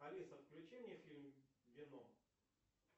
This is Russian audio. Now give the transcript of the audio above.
алиса включи мне фильм веном